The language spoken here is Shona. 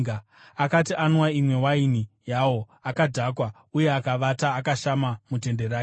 Akati anwa imwe yewaini yawo, akadhakwa uye akavata akashama mutende rake.